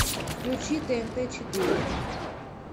включи тнт четыре